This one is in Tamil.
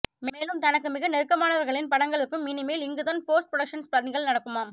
மேலும் தனக்கு மிக நெருக்கமானவர்களின் படங்களுக்கும் இனிமேல் இங்குதான் போஸ்ட் புரடொக்சன்ஸ் பணிகள் நடக்குமாம்